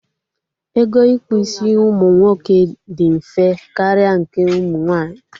Ego ịkpụ isi ụmụ nwoke dị mfe karịa nke ụmụ nwaanyị